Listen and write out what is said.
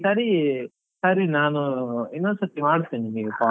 ಸರಿ, ಸರಿ ನಾನು ಇನ್ನೊಂದ್ ಸರ್ತಿ ಮಾಡ್ತೀನಿ ನಿಮ್ಗೆ call .